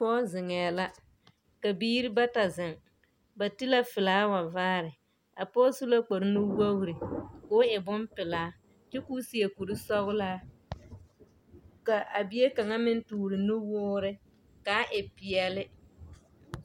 Pɔge zeŋɛɛ la, ka biiri bata zeŋ. Ba ti la felaawa vaare. A pɔge su la kpare nuwogiri ka o e bompelaa kyɛ ka o seɛ kuri sɔgelaa ka a bie kaŋa meŋ tore nuwoore ka a e peɛle.